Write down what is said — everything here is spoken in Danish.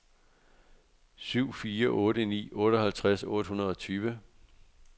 syv fire otte ni otteoghalvtreds otte hundrede og tyve